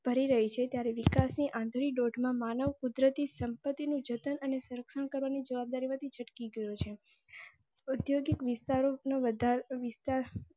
કરી રહી છે ત્યારે વિકાસ ની આંધળી દોડ માં માનવ કુદરતી સંપતિ નું જતન અને સરક્ષણ કરવની જવાબદારી માં થી છટકી ગયો છે. ઉધ્યોગિક વિસ્તાર નો વધારે વિસ્તાર